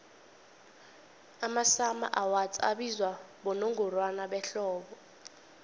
amasummer awards abizwa bonongorwana behlobo